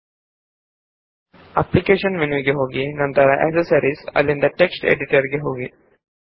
ಕ್ರಮವಾಗಿ ಅಪ್ಲಿಕೇಶನ್ಸ್ ಜಿಟಿಯ ಆಕ್ಸೆಸರೀಸ್ ಜಿಟಿಯ ಟೆಕ್ಸ್ಟ್ ಎಡಿಟರ್ ಗೆ ಹೋಗಿ